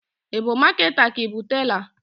I bu maketa ka i bu tela?